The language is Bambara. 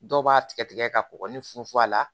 Dɔw b'a tigɛ tigɛ ka kɔgɔ ni funfun a la